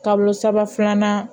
Kalo saba filanan